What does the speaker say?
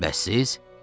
Bəs siz?